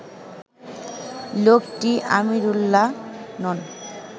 লোকটি আমিরুল্লাহ নন